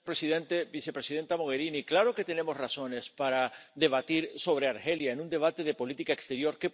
Señor presidente, vicepresidenta Mogherini, claro que tenemos razones para debatir sobre Argelia en un debate de política exterior.